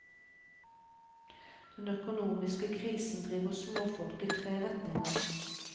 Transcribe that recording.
Den økonomiske krisen driver småfolket i tre retninger.